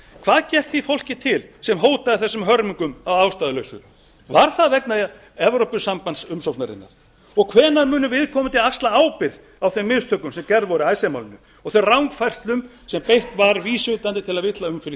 hvað gekk því fólki til sem hótaði þessum hörmungum að ástæðulausu var það vegna evrópusambandsumsóknarinnar og hvenær munu viðkomandi axla ábyrgð á þeim mistökum sem gerð voru í icesave málinu og þeim rangfærslum sem beitt var vísvitandi til að villa um fyrir